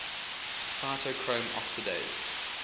cytochrome oxidase